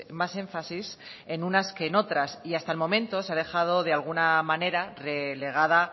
más énfasis en unas que en otras y hasta el momento se ha dejado de alguna manera relegada